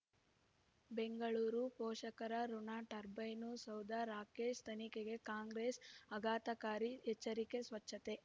ಬೆಂಗಳೂರು ಪೋಷಕರಋಣ ಟರ್ಬೈನು ಸೌಧ ರಾಕೇಶ್ ತನಿಖೆಗೆ ಕಾಂಗ್ರೆಸ್ ಆಘಾತಕಾರಿ ಎಚ್ಚರಿಕೆ ಸ್ವಚ್ಛತೆ